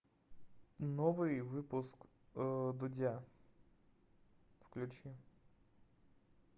новый выпуск дудя включи